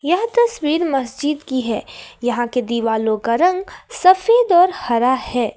यह तस्वीर मस्जिद की है यहां के दीवारों का रंग सफेद और हरा है।